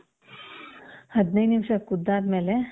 ಹದಿನೈದ್ ನಿಮಿಷ ಕುದ್ದ್ ಆದ್ಮೇಲೆ,